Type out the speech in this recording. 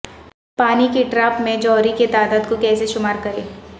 پانی کی ڈراپ میں جوہری کی تعداد کو کیسے شمار کریں